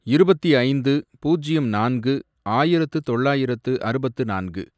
இருபத்தி ஐந்து, பூஜ்யம் நான்கு, ஆயிரத்து தொள்ளாயிரத்து அறுபத்து நான்கு